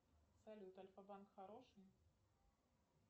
салют альфа банк хороший